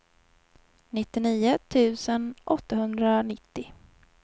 nittionio tusen åttahundranittio